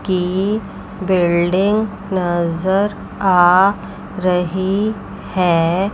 की बिल्डिंग नजर आ रही है।